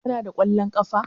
Kana da kwallon ƙafa?